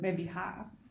Men vi har